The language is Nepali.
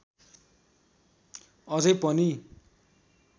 अझै पनि